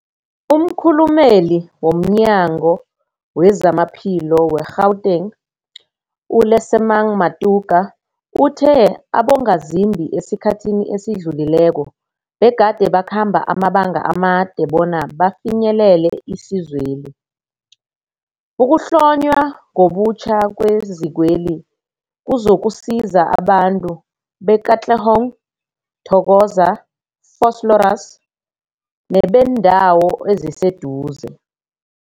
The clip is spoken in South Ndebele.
Umkhulumeli womNyango weZamaphilo we-Gauteng, u-Lesemang Matuka uthe abongazimbi esikhathini esidlulileko begade bakhamba amabanga amade bona bafinyelele isizweli. Ukuhlonywa ngobutjha kwezikweli kuzokusiza abantu be-Katlehong, Thokoza, Vosloorus nebeendawo eziseduze.